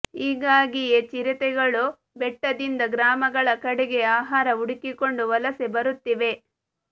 ಹೀಗಾಗಿಯೇ ಚಿರತೆಗಳು ಬೆಟ್ಟದಿಂದ ಗ್ರಾಮಗಳ ಕಡೆಗೆ ಆಹಾರ ಹುಡುಕಿಕೊಂಡು ವಲಸೆ ಬರುತ್ತಿವೆ